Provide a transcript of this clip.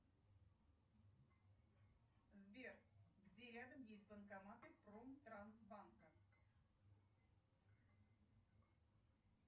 сбер где рядом есть банкоматы промтрансбанка